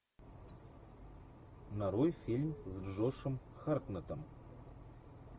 нарой фильм с джошем хартнеттом